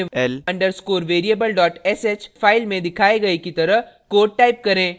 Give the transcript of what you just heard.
यहाँ अपने l _ underscore variable sh file में दिखाए गए की तरह code type करें